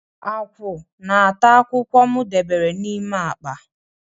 Akwụ na-ata akwụkwọ m debere n'ime akpa.